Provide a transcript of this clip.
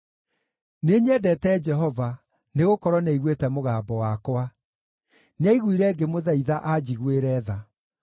Nĩnyendete Jehova, nĩgũkorwo nĩaiguĩte mũgambo wakwa; nĩaiguire ngĩmũthaitha anjiguĩre tha.